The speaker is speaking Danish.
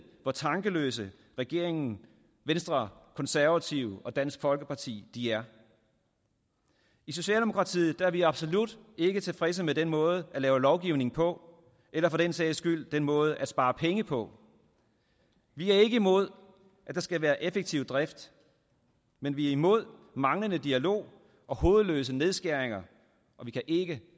hvor tankeløse regeringen venstre konservative og dansk folkeparti er i socialdemokratiet er vi absolut ikke tilfredse med den måde at lave lovgivning på eller for den sags skyld den måde at spare penge på vi er ikke imod at der skal være effektiv drift men vi er imod manglende dialog og hovedløse nedskæringer og vi kan ikke